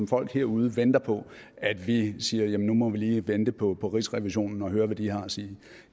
folk herude venter på at vi siger at nu må vi lige vente på på rigsrevisionen og høre hvad de har at sige